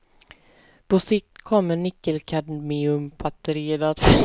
På sikt kommer nickelkadmiumbatterierna att försvinna helt.